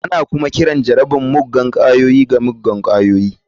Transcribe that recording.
Ana kuma kiran jarabar muggan ƙwayoyi da muggan ƙwayoyi.